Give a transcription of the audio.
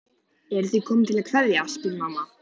Eruð þið komin til að kveðja, spyr mamma.